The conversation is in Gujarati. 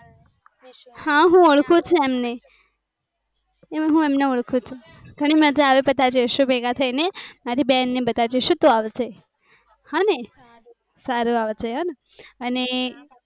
હું ઓળખું છું એમ ને? એમ ને ઓળખું છું. ઘણી મજા આવે બધા જયીશું ભેગા થઇ ને મારી બેન ને બધા જયીસુ તો આવશે. અને.